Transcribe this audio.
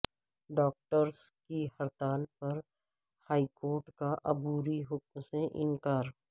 doctors کی ہڑتال پر ہائیکورٹ کا عبوری حکم سے انکار